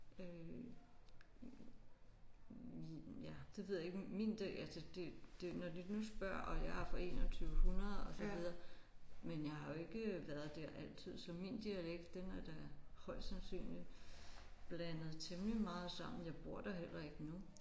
Øh vi ja det ved jeg ikke min det altså det det når de nu spørger og jeg er fra 2100 og så videre men jeg har jo ikke været der altid så min dialekt den er da højst sandsynligt blandet temmelig meget sammen. Jeg bor der heller ikke nu